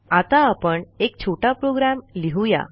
आता आपण एक छोटा प्रोग्रॅम लिहू या